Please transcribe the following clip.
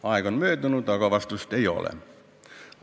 Aeg on möödunud, aga vastust ei ole.